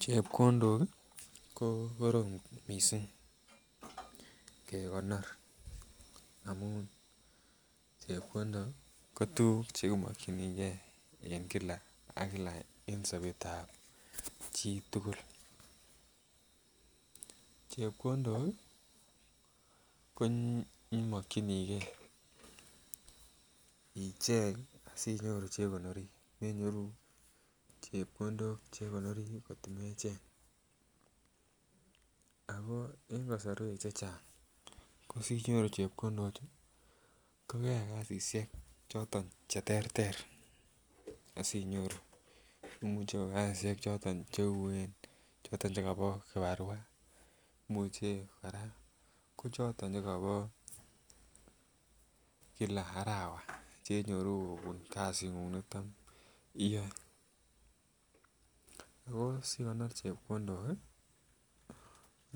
Chepkondok ko korom mising kegonor amun chepkondok ko tuguk chekimakingei en kila ak kila en Sabet ab chitugul chepkondok komakingei ichengi sinyoru chekonoren chepkondok chekonori kot komecheng ako en kasarwek chechang kosinyoru chepkondok kokeyai kasishek choton cheterter asinyoru akomuche ko kasishek choton Chuen choton chekaba kibarua akokoraa choton Che chekaba kila arawa chenyoru kobun kasit niton iyae tos igonor chepkondok